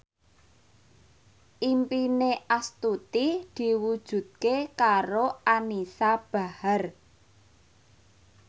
impine Astuti diwujudke karo Anisa Bahar